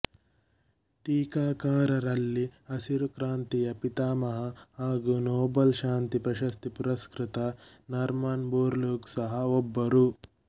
ಟೀಕಾಕಾರರಲ್ಲಿ ಹಸಿರು ಕ್ರಾಂತಿಯ ಪಿತಾಮಹ ಹಾಗು ನೋಬಲ್ ಶಾಂತಿ ಪ್ರಶಸ್ತಿ ಪುರಸ್ಕೃತ ನಾರ್ಮನ್ ಬೋರ್ಲುಗ್ ಸಹ ಒಬ್ಬರು